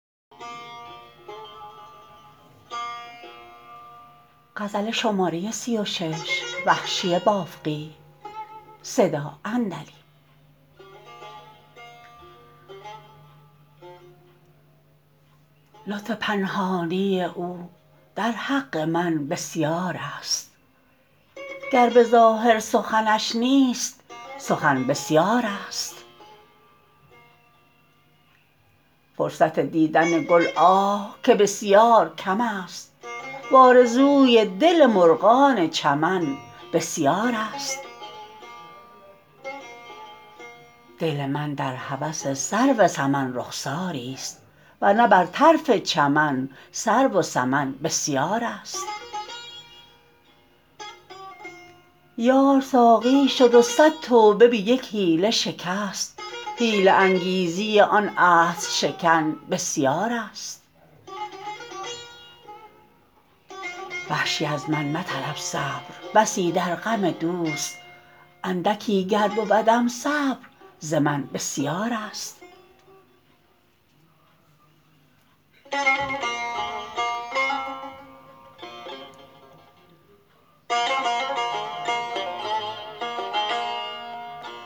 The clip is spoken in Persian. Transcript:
لطف پنهانی او در حق من بسیار است گر به ظاهر سخنش نیست سخن بسیار است فرصت دیدن گل آه که بسیار کم است و آرزوی دل مرغان چمن بسیار است دل من در هوس سرو سمن رخساری ست ورنه بر طرف چمن سرو و سمن بسیار است یار ساقی شد و صد توبه به یک حیله شکست حیله انگیزی آن عهدشکن بسیار است وحشی از من مطلب صبر بسی در غم دوست اندکی گر بودم صبر ز من بسیار است